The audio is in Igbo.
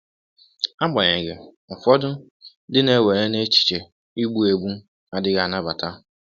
Agbanyeghị, ụfọdụ ndị na-ewere na echiche igbu egbu adịghị anabata.